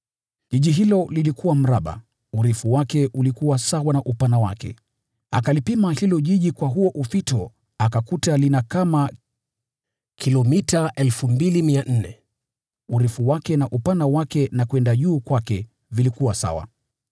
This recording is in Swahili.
Mji huo ulikuwa mraba, urefu wake ulikuwa sawa na upana wake. Akaupima huo mji kwa huo ufito akakuta una kama kilomita 2,200; urefu wake na upana wake na kwenda juu kwake vilikuwa sawa.